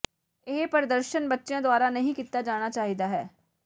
ਇਹ ਪ੍ਰਦਰਸ਼ਨ ਬੱਚਿਆਂ ਦੁਆਰਾ ਨਹੀਂ ਕੀਤਾ ਜਾਣਾ ਚਾਹੀਦਾ ਹੈ